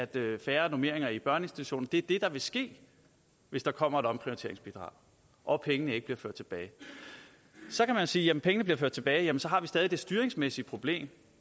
bliver færre normeringer i børneinstitutionerne det er det der vil ske hvis der kommer et omprioriteringsbidrag og pengene ikke bliver ført tilbage så kan man sige at hvis pengene bliver ført tilbage har vi stadig det styringsmæssige problem